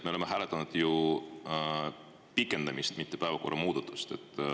Me oleme hääletanud ju pikendamist, mitte päevakorra muudatust.